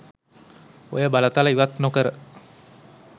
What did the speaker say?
ඔය බලතල ඉවත් නොකර